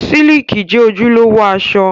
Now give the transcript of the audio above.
Síìkì jẹ́ ojúlówó aṣọ